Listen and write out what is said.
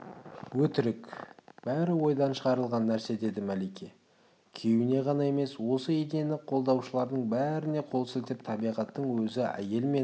өтірік бәрі ойдан шығарылған нәрсе деді мәлике күйеуіне ғана емес осы идеяны қолдаушылардың бәріне қол сілтеп табиғаттың өзі әйел мен